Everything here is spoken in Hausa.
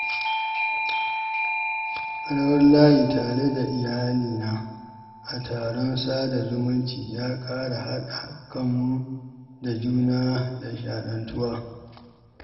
Rawar layi tare da iyalina a taron sada-zumunci ya ƙara haɗa kanmu da juna da nishaɗantuwa.